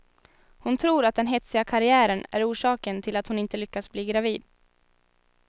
Hon tror att den hetsiga karriären är orsaken till att hon inte lyckats bli gravid.